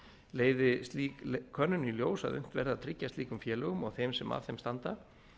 leiði slík könnun í ljós að unnt verði að tryggja slíkum félögum og þeim sem að þeim standa